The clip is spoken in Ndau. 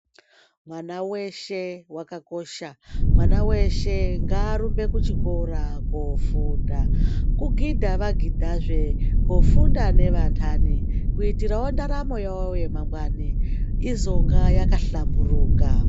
Mwana weshe wakakosha, mwana weshe ngaarumbe kuchikora kofunda, kugidha vagidhazve kufunda nevanhani kuitirawo mundaramo yavo yemangwani izonga yakahlamburuka